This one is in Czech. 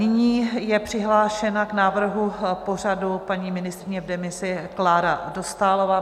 Nyní je přihlášena k návrhu pořadu paní ministryně v demisi Klára Dostálová.